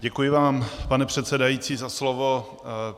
Děkuji vám, pane předsedající za slovo.